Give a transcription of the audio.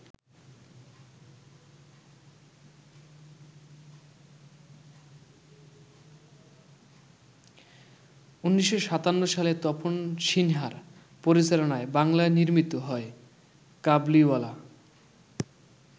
১৯৫৭ সালে তপন সিনহার পরিচালনায় বাংলায় নির্মিত হয় ‘কাবুলিওয়ালা’।